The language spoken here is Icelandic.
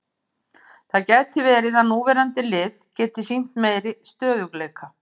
Það gæti verið að núverandi lið geti sýnt meiri stöðugleika.